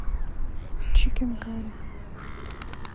чикен карри